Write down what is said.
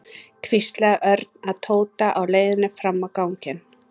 hvíslaði Örn að Tóta á leiðinni fram á ganginn.